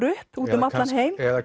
upp um allan heim eða